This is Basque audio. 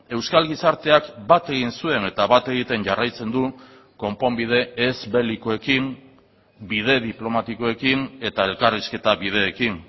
euskal gizarteak bat egin zuen eta bat egiten jarraitzen du konponbide ez belikoekin bide diplomatikoekin eta elkarrizketa bideekin